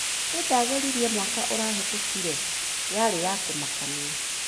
ĩĩ ndageririe mwaka ũrahetũkire. Yarĩ ya kũmakania.